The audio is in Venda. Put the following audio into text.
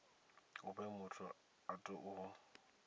hune muthu a tou hu